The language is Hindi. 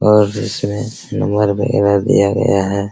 और इसमें नंबर वैगरह दिया गया है।